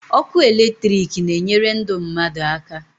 Ọkụ electric na enyere ndụ mmadụ aka